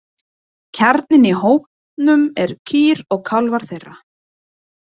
Kjarninn í hópnum eru kýr og kálfar þeirra.